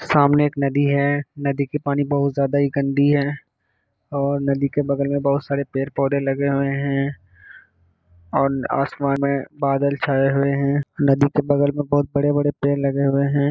सामने एक नदी है नदी के पानी बहुत ज्यादा ही गंदी है और नदी के बगल में बहुत सारे पेड़-पौधे लगे हुए हैं और आसमान में बादल छाए हुए हैं नदी के बगल में बहुत बड़े-बड़े पेड़ लगे हुए हैं।